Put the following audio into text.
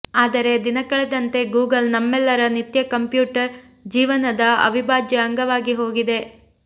ಆದರೆ ದಿನಕಳೆದಂತೆ ಗೂಗಲ್ ನಮ್ಮೆಲ್ಲರ ನಿತ್ಯ ಕಂಪ್ಯೂಟರ್ ಜೀವನದ ಅವಿಭಾಜ್ಯ ಅಂಗವಾಗಿ ಹೋಗಿದೆ